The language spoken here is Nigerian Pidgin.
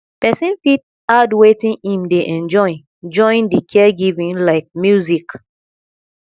person fit add wetin im dey enjoy join di caregiving like music